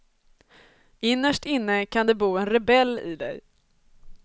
Innerst inne kan det bo en rebell i dig.